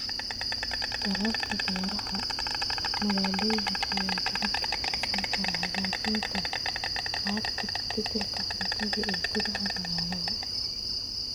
Dadaalka beeraha magaalooyinka ayaa gacan ka geysan kara hagaajinta haqab-beelka cuntada ee gudaha magaalada.